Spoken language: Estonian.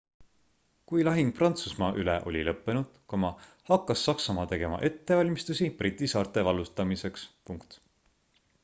kui lahing prantsusmaa üle oli lõppenud hakkas saksamaa tegema ettevalmistusi briti saarte vallutamiseks